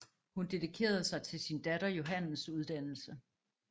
Hun dedikerede sig til sin datter Johannes uddannelse